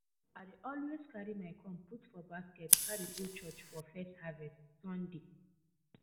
i dey always carry my corn put for basket carry go church for first harvest sunday